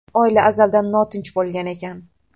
Oila azaldan notinch bo‘lgan ekan.